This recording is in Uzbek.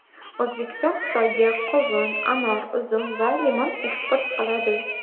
O‘zbekiston Xitoyga qovun, anor, uzum va limon eksport qiladi.